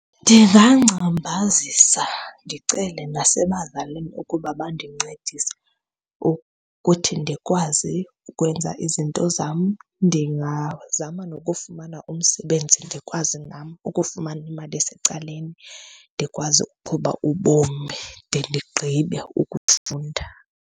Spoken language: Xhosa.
Ndingangcambazisa ndicele nasebazalini ukuba bandincedise ukuthi ndikwazi ukwenza izinto zam. Ndingazama nokufumana umsebenzi ndikwazi nam ukufumana imali esecaleni. Ndikwazi ukuqhuba ubomi de ndigqibe ukufunda.